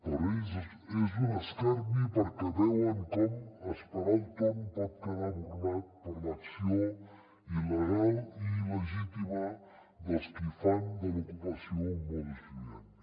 per a ells és un escarni perquè veuen com esperar el torn pot quedar burlat per l’acció il·legal i il·legítima dels qui fan de l’ocupació un modus vivendi